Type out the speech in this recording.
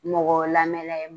Mɔgɔ lamɛn la ye